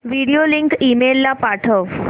video link email ला पाठव